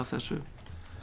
þessu